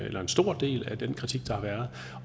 en stor del af den kritik der har været